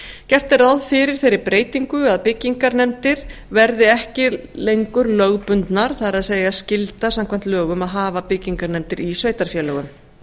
gert er ráð fyrir þeirri breytingu að byggingarnefndir verði ekki lengur lögbundnar það er skylda samkvæmt lögum að hafa byggingarnefndir í sveitarfélögum